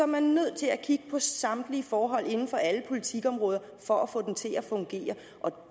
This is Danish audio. man nødt til at kigge på samtlige forhold inden for alle politikområder for at få den til at fungere og